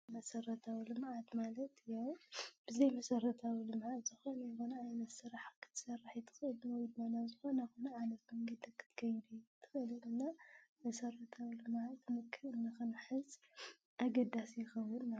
መሰራታዊ ልምዓት ማለት ያው ብዘይ መሰረታዊ ልምዓት ዝኸነ ይኹን ዓይነት ስራሕ ክትሰርሕ ኣይትክእልን ወይ ድማ ናብ ዝኸነ ይኹን መንገዲ ክትከድ እንክእል ድማ መሰረታዊ ልምዓት መልክዕ ክንሕዝ ኣገዳሲ ይከውን ማለት እዩ ፡፡